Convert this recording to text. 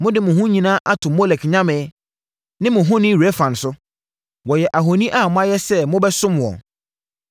Mode mo ho nyinaa ato Molek nyame, ne mo honi Rɛfan so; wɔyɛ ahoni a moayɛ sɛ mobɛsom wɔn.